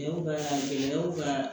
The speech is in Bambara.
Cɛw ka gɛlɛyaw ka